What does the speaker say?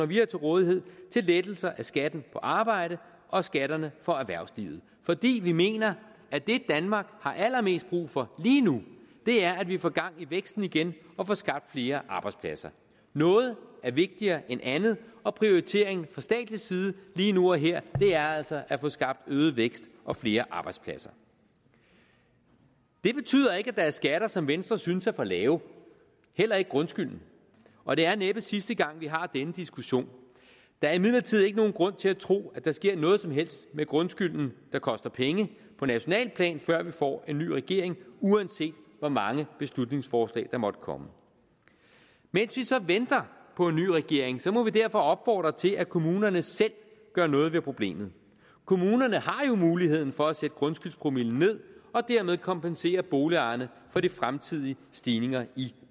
vi har til rådighed til lettelser af skatten på arbejde og skatterne for erhvervslivet fordi vi mener at det danmark har allermest brug for lige nu er at vi får gang i væksten igen og får skabt flere arbejdspladser noget er vigtigere end andet og prioriteringen fra statslig side lige nu og her er altså at få skabt øget vækst og flere arbejdspladser det betyder ikke at der er skatter som venstre synes er for lave heller ikke grundskylden og det er næppe sidste gang vi har denne diskussion der er imidlertid ikke nogen grund til at tro at der sker noget som helst med grundskylden der koster penge på nationalt plan før vi får en ny regering uanset hvor mange beslutningsforslag der måtte komme mens vi så venter på en ny regering må vi derfor opfordre til at kommunerne selv gør noget ved problemet kommunerne har jo muligheden for at sætte grundskyldspromillen ned og dermed kompensere boligejerne for de fremtidige stigninger i